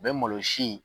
U bɛ malosi